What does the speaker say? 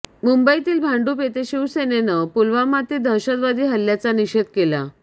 मुंबईतील भांडुप येथे शिवसेनेनं पुलवामातील दहशतवादी हल्ल्याचा निषेध केला